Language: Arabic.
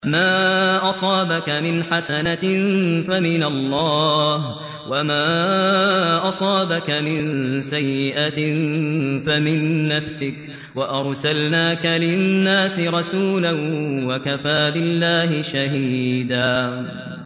مَّا أَصَابَكَ مِنْ حَسَنَةٍ فَمِنَ اللَّهِ ۖ وَمَا أَصَابَكَ مِن سَيِّئَةٍ فَمِن نَّفْسِكَ ۚ وَأَرْسَلْنَاكَ لِلنَّاسِ رَسُولًا ۚ وَكَفَىٰ بِاللَّهِ شَهِيدًا